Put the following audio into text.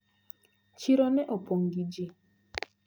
Chiro ne opong` gi ji.